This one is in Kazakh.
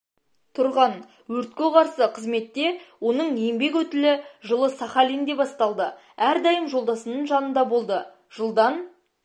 тұрған өртке қарсы қызметте оның еңбек өтілі жылы сахалинде басталды әрдайым жолдасының жанында болды жылдан